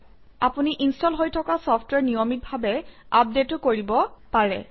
আপুনি ইনষ্টল হৈ থকা চফট্ৱেৰ নিয়মিতভাৱে আপডেটো কৰিব পাৰে